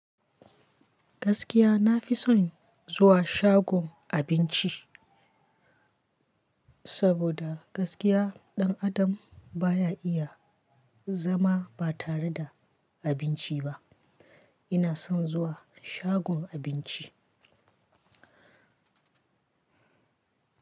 Gaskiya na fi son zuwa shagon abinci, saboda gaskiya ɗan adam baya iya zama ba tare da abinci ba. Ina son zuwa shagon abinci.